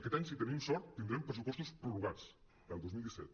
aquest any si tenim sort tindrem pressupostos prorrogats del dos mil disset